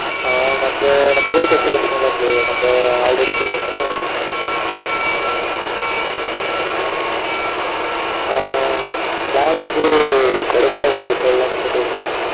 ஆ வந்து நம்ம கூட படிச்ச பசங்க தான் bro நம்ம already போய்டு வந்தோம்ல ஒரு fifteen அந்த பசங்க தான் திரும்பி வாரங்க ஆ plan வந்து கொடைக்கானல் side போடலன்னு போட்டு இருக்கோம்.